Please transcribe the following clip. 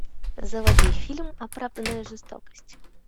заводи фильм оправданная жестокость